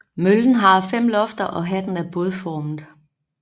Møllen har fem lofter og hatten er bådformet